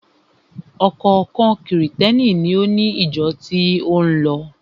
Ọ̀kọ̀ọ̀kan Krìstẹ́ni ni ó ni ìjọ tí ó ń lọ.